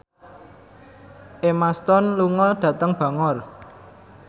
Emma Stone lunga dhateng Bangor